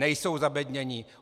Nejsou zabednění.